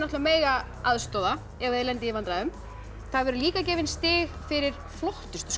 mega aðstoða ef þið lendið í vandræðum það verða líka gefin stig fyrir flottustu